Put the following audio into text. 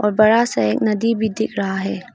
बड़ा सा एक नदी भी दिख रहा है।